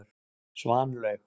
Svanlaug